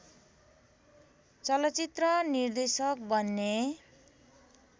चलचित्र निर्देशक बन्ने